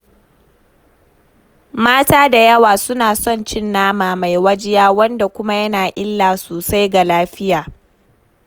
Mata da yawa suna son cin nama mai wajiya, wanda kuma yana illa sosai ga lafiya.